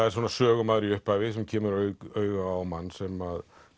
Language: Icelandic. er svona sögumaður í upphafi sem kemur auga á mann sem